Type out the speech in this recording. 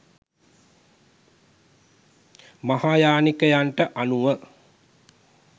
මහායානිකයන්ට අනුව